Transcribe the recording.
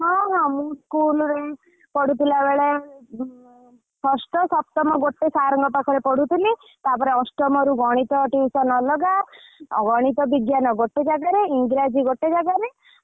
ହଁ ହଁ ମୁ school ରେ ପଢୁଥିଲା ବେଳେ ଷଷ୍ଠ ସପ୍ତମ ଗୋଟେ sir ଙ୍କ ପାଖରେ ପଢୁଥିଲି ତାପରେ ଅଷ୍ଟମ ରୁ ଗଣିତ tuition ଅଲଗା ଗଣିତ ବିଜ୍ଞାନ ଗୋଟେ ଜାଗାରେ ଇଂରାଜୀ ଗୋଟେ ଜାଗାରେ ।